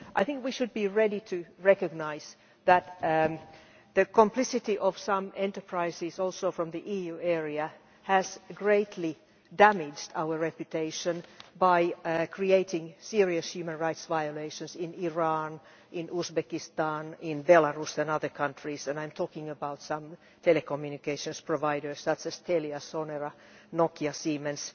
I think we should be ready to recognise that the complicity of some enterprises, including some from the EU area, has greatly damaged our reputation by creating serious human rights violations in Iran, in Uzbekistan, in Belarus and in other countries, and I am talking about some telecommunications providers, that is Astellia, Sonora, Nokia, Siemens.